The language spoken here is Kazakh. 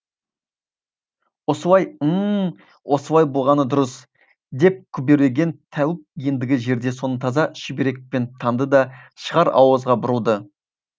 осылай ім м осылай болғаны дұрыс деп күбірлеген тәуіп ендігі жерде соны таза шүберекпен таңды да шығар ауызға бұрылды